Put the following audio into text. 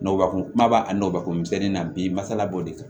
Nɔgɔkun kumaba a nɔgɔbako misɛnni na bi masala b'o de kan